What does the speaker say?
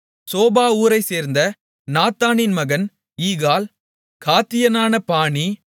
sofa ஊரைச்சேர்ந்த நாத்தானின் மகன் ஈகால் காத்தியனான பானி